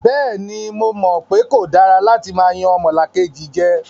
Bẹ́ẹ̀ni, mo mọ̀ pe kò dára látí máa yan ọmọlàkejì jẹ.